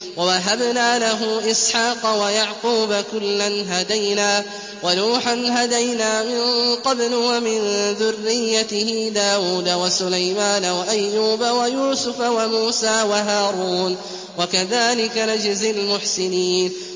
وَوَهَبْنَا لَهُ إِسْحَاقَ وَيَعْقُوبَ ۚ كُلًّا هَدَيْنَا ۚ وَنُوحًا هَدَيْنَا مِن قَبْلُ ۖ وَمِن ذُرِّيَّتِهِ دَاوُودَ وَسُلَيْمَانَ وَأَيُّوبَ وَيُوسُفَ وَمُوسَىٰ وَهَارُونَ ۚ وَكَذَٰلِكَ نَجْزِي الْمُحْسِنِينَ